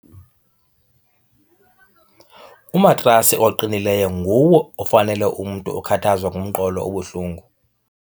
Umatrasi oqinileyo nguwo ofanele umntu okhathazwa ngumqolo obuhlungu.